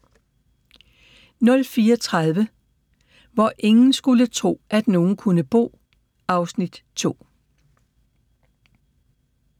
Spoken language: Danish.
04:30: Hvor ingen skulle tro, at nogen kunne bo (Afs. 2)